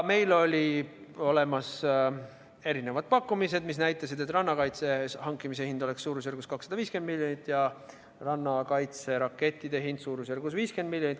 Meil olid olemas erinevad pakkumised, mis näitasid, et rannakaitse hankimise hind oleks suurusjärgus 250 miljonit ja rannakaitserakettide hind suurusjärgus 50 miljonit.